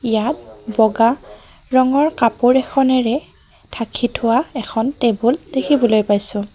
ইয়াত বগা ৰঙৰ কাপোৰ এখনেৰে ঢাকি থোৱা এখন টেবল দেখিবলে পাইছোঁ।